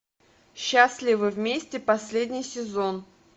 счастливы вместе последний сезон